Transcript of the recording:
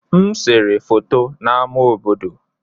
M sere foto n'ámá obodo.